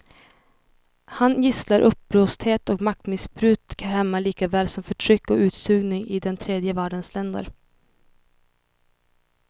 Han gisslar uppblåsthet och maktmissbruk här hemma likaväl som förtryck och utsugning i den tredje världens länder.